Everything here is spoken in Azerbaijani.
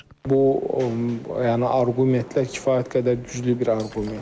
Bu, yəni arqumentlər kifayət qədər güclü bir arqumentdir.